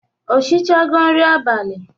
O shichego nri abalị?